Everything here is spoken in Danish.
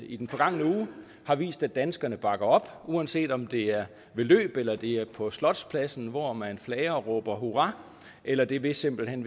i den forgangne uge har vist at danskerne bakker op uanset om det er ved løb eller det er på slotspladsen hvor man flager og råber hurra eller det er ved simpelt hen